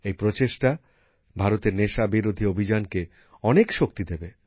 এই প্রচেষ্টা ভারতের নেশাবিরোধী অভিযানকে অনেক শক্তি দেবে